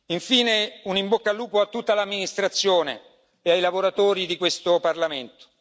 Infine, un in bocca al lupo a tutta l'amministrazione e ai lavoratori di questo Parlamento.